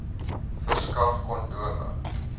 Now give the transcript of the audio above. verskaf kondome